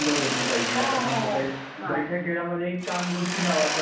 आता काय मोबाईल. बैठ्या खेळामधे एक कानगोष्टी नावाचा एक खेळ होता,